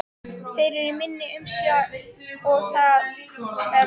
Þeir eru í minni umsjá og það með réttu.